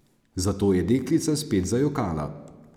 Zato je deklica spet zajokala.